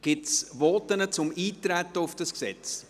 Gibt es Voten zum Eintreten auf dieses Gesetz?